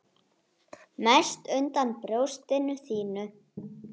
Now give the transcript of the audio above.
Það verður að hafa það.